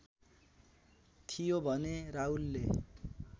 थियो भने राहुलले